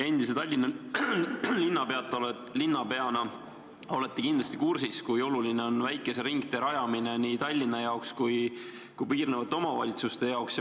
Endise Tallinna linnapeana olete kindlasti kursis, kui oluline on väikese ringtee rajamine nii Tallinna jaoks kui ka piirnevate omavalitsuste jaoks.